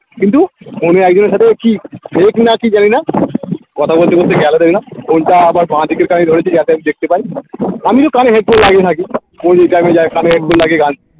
কিন্তু একজনের সাথে কি হয়েছে না কি জানিনা কথা বলতে বলতে গেলো দেখলাম আবার বাঁদিকের গাড়ি ধরেছে যাতে আমি দেখতে পাই আমিতো কানে headphone লাগিয়ে থাকি ও যেই time এ যায় কানে headphone লাগিয়ে গান